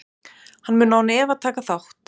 Hann mun án efa taka þátt.